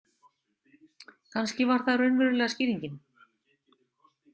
Kannski var það raunverulega skýringin.